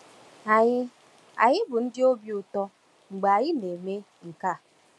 Anyị Anyị bụ ndị obi ụtọ mgbe anyị na-eme nke a.